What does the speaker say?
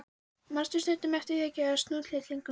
Manstu stundum eftir því að gefa snjótittlingunum?